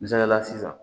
Misaliyala sisan